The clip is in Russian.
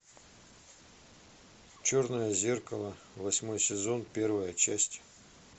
черное зеркало восьмой сезон первая часть